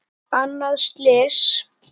Annað slys.